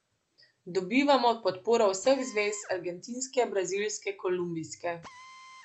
Dobivamo podporo vseh zvez, argentinske, brazilske, kolumbijske.